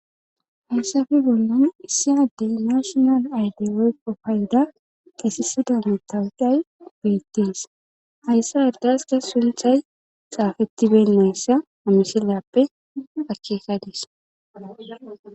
hayssafe bollan issi addey nashonal ayde woykko payda kesisida mettawudhay beettees hayssa irdaska sunthay xaafettiben nayssa amishilyappe akekadis